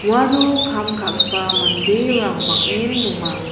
uano kam ka·gipa manderang bang·en donga.